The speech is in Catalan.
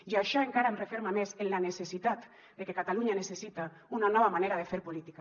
i això encara em referma més en la necessitat de que catalunya necessita una nova manera de fer política